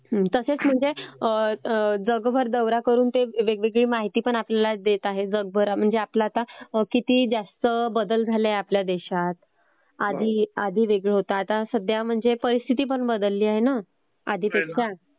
तसेच म्हणजे जगभर दौरा करून ते वेगवेगळी माहिती पण आपल्याला देत आहेत जगभरातली म्हणजे आपल आता किती जास्त बदल झालाय आपल्या देशात. आधी वेगळ होत. आता परिस्थिती पण ब तसेच म्हणजे जगभर दौरा करून ते वेगवेगळी माहिती आपल्याला देत आहेत जगभरातली म्हणजे आपल आता किती जास्त बदल झालाय आपल्या देशात. आधी वेगळ होत. आता परिस्थिती पण बदलली आहे ना आधीपेक्षा.दलली आहे ना आधीपेक्षा.